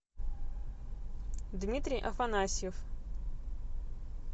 дмитрий афанасьев